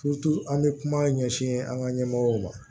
an bɛ kuma ɲɛsin an ka ɲɛmɔgɔw ma